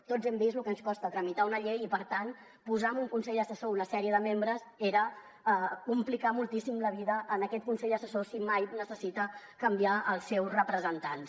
tots hem vist lo que ens costa tramitar una llei i per tant posar en un consell assessor una sèrie de membres era complicar moltíssim la vida a aquest consell assessor si mai necessita canviar els seus representants